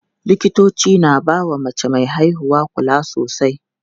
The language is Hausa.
Likitoci na bawa mace me haihuwa kula sosai.